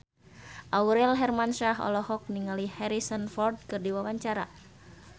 Aurel Hermansyah olohok ningali Harrison Ford keur diwawancara